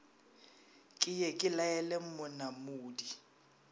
ke ye ke laele monamudi